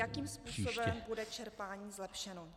Jakým způsobem bude čerpání zlepšeno.